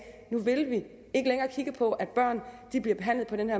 nu vil vi ikke længere kigge på at børn bliver behandlet på den